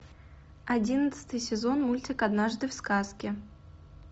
одиннадцатый сезон мультик однажды в сказке